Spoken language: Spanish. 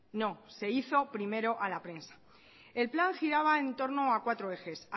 no se hizo primero a la prensa el plan giraba en torno a cuatro ejes